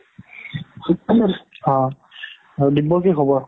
অ throat আৰু দিব্যৰ কি খবৰ?